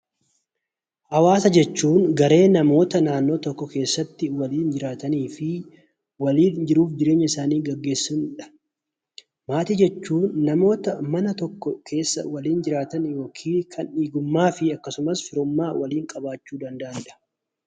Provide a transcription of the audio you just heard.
Hawaasa jechuun garee namoota naannoo tokko keessatti waliin jiraatanii fi waliin jiruu fi jireenya isaanii gaggeessanidha. Maatii jechuun namoota mana tokko keessa waliin jiraatan yookiin kan dhiigummaa fi firummaa waliin qabaachuu danda'anidha.